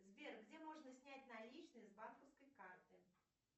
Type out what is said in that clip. сбер где можно снять наличные с банковской карты